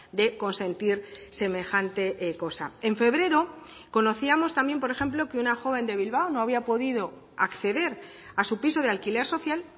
de consentir semejante cosa en febrero conocíamos también por ejemplo que una joven de bilbao no había podido acceder a su piso de alquiler social